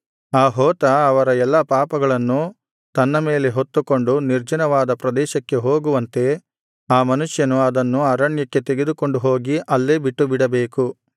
ಆ ಹೋತ ಅವರ ಎಲ್ಲಾ ಪಾಪಗಳನ್ನು ತನ್ನ ಮೇಲೆ ಹೊತ್ತುಕೊಂಡು ನಿರ್ಜನವಾದ ಪ್ರದೇಶಕ್ಕೆ ಹೋಗುವಂತೆ ಆ ಮನುಷ್ಯನು ಅದನ್ನು ಅರಣ್ಯಕ್ಕೆ ತೆಗೆದುಕೊಂಡುಹೋಗಿ ಅಲ್ಲೇ ಬಿಟ್ಟುಬಿಡಬೇಕು